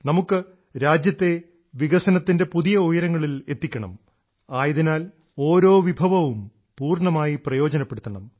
നമുക്ക് രാജ്യത്തെ വികസനത്തിൻറെ പുതിയ ഉയരങ്ങളിൽ എത്തിക്കണം ആയതിനാൽ ഓരോ വിഭവവും പൂർണ്ണമായി പ്രയോജനപ്പെടുത്തണം